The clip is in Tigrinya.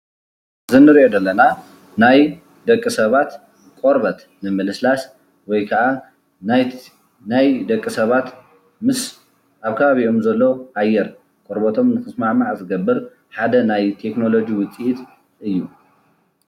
እዚ እንሪኦ ዘለና ናይ ደቂ ሰባት ቆርበት ንምልስላስ ወይከኣ ናይ ደቂ ሰባት ምስ ኣብ ከባቢኦም ዘሎ ኣየር ቆርበቶም ክስማዕማዕ ዝገብር ሓደ ናይ ቴክኖሎጂ ውፅኢት እዩ፡፡